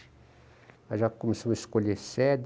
Aí já começamos a escolher sede.